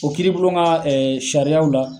O kiribulon ka sariyaw la.